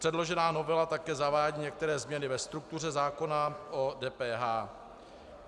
Předložená novela také zavádí některé změny ve struktuře zákona o DPH.